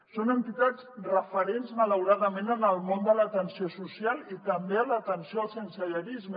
són entitats referents malauradament en el món de l’atenció social i també en l’atenció al sensellarisme